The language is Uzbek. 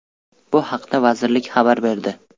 Bu haqda vazirlik xabar berdi.